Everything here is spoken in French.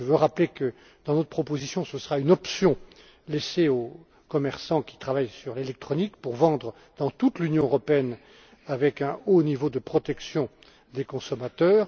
doutes. Je veux rappeler que, dans notre proposition, ce sera une option laissée aux commerçants qui travaillent sur l'électronique, pour vendre dans toute l'Union européenne avec un haut niveau de protection des consommateurs.